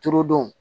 Turudon